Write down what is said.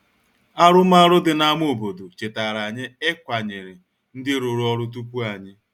Arụmarụ dị n’ámá obodo chetara anyị ịkwanyere ndị rụrụ ọrụ tupu anyị.